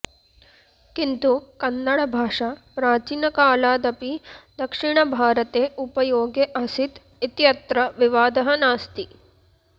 किन्तु कन्नडभाषा प्राचीनकालादपि दक्षिणभारते उपयोगे आसीत् इत्यत्र विवादः नास्ति